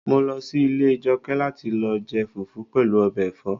Mo lọ sí ilé Jọkẹ́ láti lọ jẹ fufu pẹ̀lú ọbẹ̀ ẹ̀fọ́